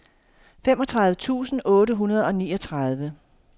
femogtredive tusind otte hundrede og niogtredive